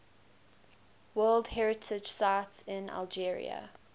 world heritage sites in algeria